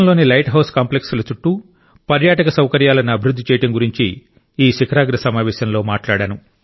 దేశంలోని lighthouse కాంప్లెక్స్ల చుట్టూ పర్యాటక సౌకర్యాలను అభివృద్ధి చేయడం గురించి ఈ శిఖరాగ్ర సమావేశంలో మాట్లాడాను